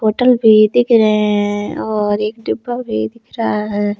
Bottle भी दिख रहे हैं और एक डिब्बा भी दिख रहा है।